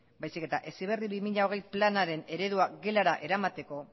baizik eta heziberri bi mila hogei planaren eredua gelara eramateko